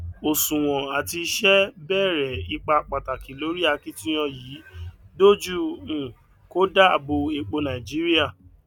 òṣùwòn àti iṣẹ bèrè ipá pàtàkì lórí akitiyan yìí dojú um kọ dáàbò epo nàìjíríà